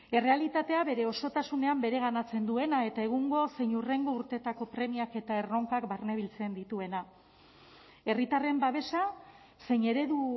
errealitatea bere osotasunean bereganatzen duena eta egungo zein hurrengo urteetako premiak eta erronkak barne biltzen dituena herritarren babesa zein eredu